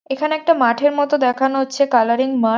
এখানে একটা মাঠের মতো দেখানো হচ্ছে কালারিং মাঠ।